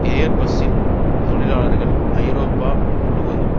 air பஸ்ஸின் தொழிலாளர்கள் ஐரோப்பா முழுவதும்